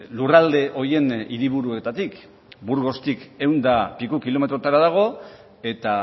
lurralde horien hiriburuetatik burgostik ehun eta piku kilometrotara dago eta